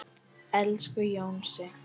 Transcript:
Elsku Jónsi.